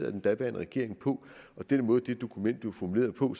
af den daværende regering og den måde det dokument blev formuleret på